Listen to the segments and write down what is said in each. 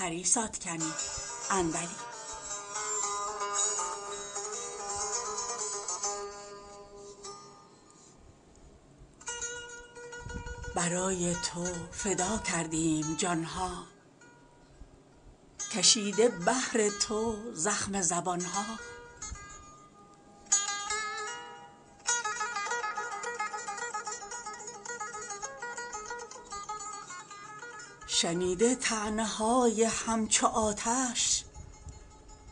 برای تو فدا کردیم جان ها کشیده بهر تو زخم زبان ها شنیده طعنه های همچو آتش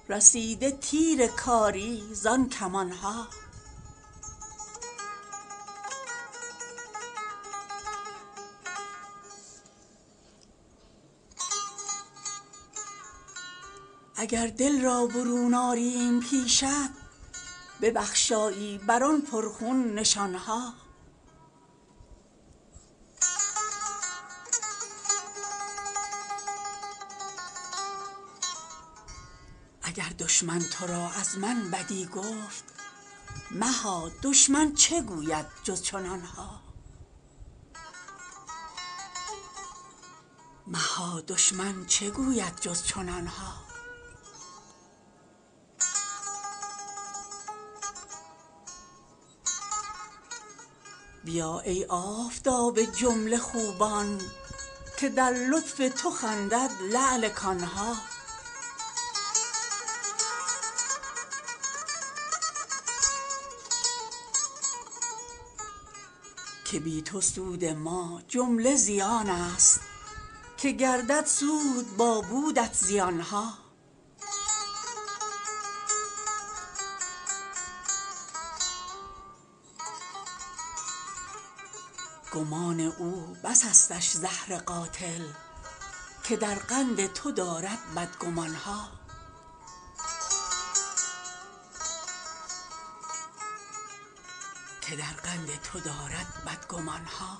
رسیده تیر کاری زان کمان ها اگر دل را برون آریم پیشت ببخشایی بر آن پرخون نشان ها اگر دشمن تو را از من بدی گفت مها دشمن چه گوید جز چنان ها بیا ای آفتاب جمله خوبان که در لطف تو خندد لعل کان ها که بی تو سود ما جمله زیانست که گردد سود با بودت زیان ها گمان او بسستش زهر قاتل که در قند تو دارد بدگمان ها